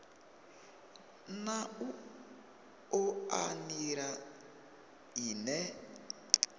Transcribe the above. na u oa nila ine